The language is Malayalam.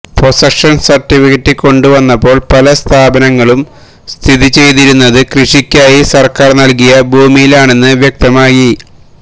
പൊസഷൻ സർട്ടിഫിക്കറ്റ് കൊണ്ടുവന്നപ്പോൾ പല സ്ഥാപനങ്ങളും സ്ഥിതിചെയ്തിരുന്നത് കൃഷിക്കായി സർക്കാർ നൽകിയ ഭൂമിയിലാണെന്ന് വ്യക്തമായി